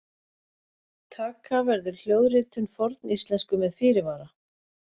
Taka verður hljóðritun forníslensku með fyrirvara!